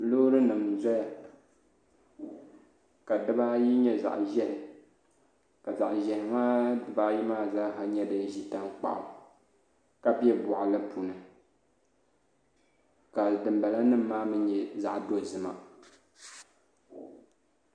Loori nim n ʒɛya ka dibaayi nyɛ zaɣ ƶiɛhi ka zaɣ ʒiɛhi maa dibaayi maa zaa nyɛ din ʒi tankpaɣu ka bɛ boɣali puuni ka dinbala nim maa mii nyɛ zaɣ dozima